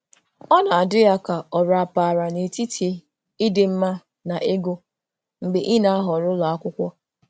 Ọ na-adị ya ka ọ rapaara n'etiti ịdị mma na ego mgbe ị na-ahọrọ ụlọ akwụkwọ.